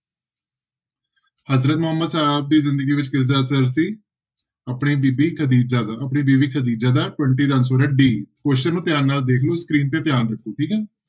ਹਜ਼ਰਤ ਮੁਹੰਮਦ ਸਾਹਬ ਦੀ ਜ਼ਿੰਦਗੀ ਵਿੱਚ ਕਿਸਦਾ ਅਸਰ ਸੀ ਆਪਣੀ ਬੀਬੀ ਖ਼ਦੀਜਾ ਦਾ, ਆਪਣੀ ਬੀਵੀ ਖ਼ਦੀਜਾ ਦਾ twenty ਦਾ answer ਹੈ d, question ਨੂੰ ਧਿਆਨ ਨਾਲ ਦੇਖ ਲਓ screen ਤੇ ਧਿਆਨ ਰੱਖੋ ਠੀਕ ਹੈ।